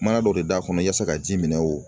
Mana dɔ de d'a kɔnɔ yaasa ka ji minɛ o